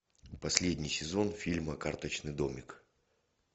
последний сезон фильма карточный домик